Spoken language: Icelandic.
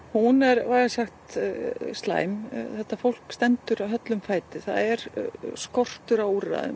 hún er slæm þetta fólk stendur höllum fæti það er skortur á úrræðum